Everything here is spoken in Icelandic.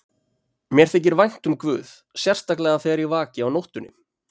Mér þykir vænt um guð, sérstaklega þegar ég vaki á nóttunni.